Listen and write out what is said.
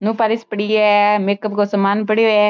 नोपॉलिश पड़ी है मेकअप को सामान पड़ीयो है।